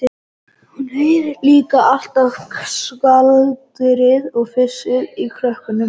Hún heyrir líka alltaf skvaldrið og flissið í krökkunum.